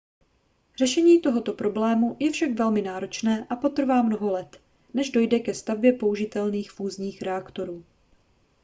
řešení tohoto problému je však velmi náročné a potrvá mnoho let než dojde ke stavbě použitelných fúzních reaktorů